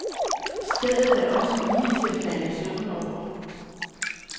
Stedet er også lige til at falde i søvn over.